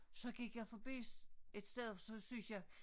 Så gik jeg forbi et sted så syntes jeg